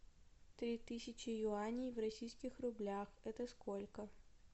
три тысячи юаней в российских рублях это сколько